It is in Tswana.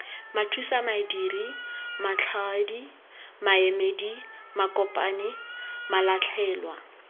mathusamadiri matlhaodi maemedi makopanyi malatlhelwa